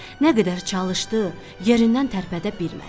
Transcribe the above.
Nə qədər çalışdı, yerindən tərpədə bilmədi.